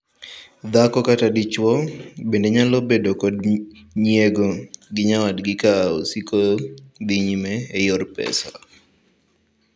Dhako kata dichwo bende nyalo bedo kod nyiego gi nyawadgi ka osiko dhii nyime e yor pesa.